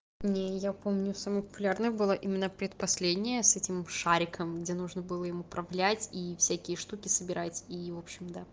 нее я помню самый популярный было именно предпоследняя с этим шариком где нужно было им управлять и всякие штуки собирать и вообщем то